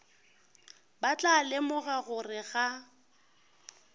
ba tla lemoga gore ga